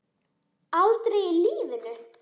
Aldrei í lífinu!